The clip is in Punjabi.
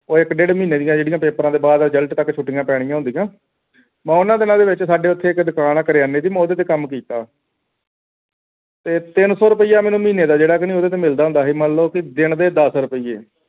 ਉਹ ਇਕ ਡੇਢ ਮਹੀਨੇ ਦੀ ਜਿਹੜੀ ਪਾਪੈਰ੍ਹਾ ਤੋਂ ਬਾਅਦ result ਤਕ ਜੋੜੀ ਛੋਟੀਆਂ ਪੈਣੀਆਂ ਹੁੰਦੀਆਂ ਮੈਂ ਉਨ੍ਹਾਂ ਦਿਨਾਂ ਦੇ ਵਿਚ ਸਾਡੇ ਇੱਥੇ ਇੱਕ ਦੁਕਾਨ ਹੈ ਕਰਿਆਨੇ ਦੀ ਮੈਂ ਉਹਦੇ ਤੇ ਕੰਮ ਕੀਤਾ ਤੇ ਤਿੰਨ ਸੌ ਰੁਪਈਆ ਮਹੀਨੇ ਦਾ ਜਿਹੜਾ ਕਿ ਮੈਨੂੰ ਉਹਦੇ ਤੇ ਮਿਲਦਾ ਹੁੰਦਾ ਸੀ ਮੰਨ ਲਉ ਕਿ ਦਿੰਦੇ ਦਸ ਰੁਪਏ